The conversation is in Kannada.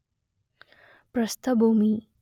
ಪ್ರಸ್ಥಭೂಮಿ